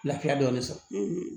Lafiya dɔɔnin sɔrɔ